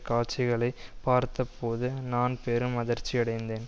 காட்சிகளை பார்த்த போது நான் பெரும் அதிர்ச்சி அடைந்தேன்